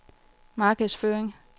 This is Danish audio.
markedsføring